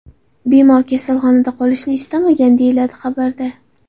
Bemor kasalxonada qolishni istamagan”, deyiladi xabarda.